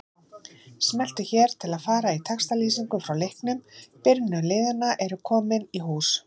Smelltu hér til að fara í textalýsingu frá leiknum Byrjunarlið liðanna eru komin í hús.